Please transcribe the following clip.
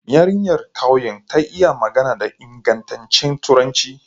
Yarinyar ƙauyen ta yi magana da ingantaccen turanci.